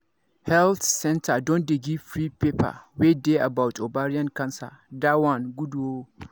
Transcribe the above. health centre don dey give free paper wey dey about ovarian cancer that one good ooo